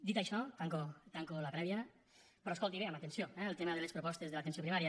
dit això tanco la prèvia però escolti bé amb atenció eh el tema de les propostes de l’atenció primària